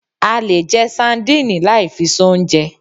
A lè jẹ sandínì lai fi soúnjẹ